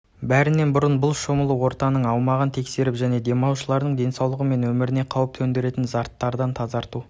бәрінен бұрын бұл шомылу орынының аумағын тексеріп және демалушылардың денсаулығы мен өміріне қауіп төндіретін заттардан тазарту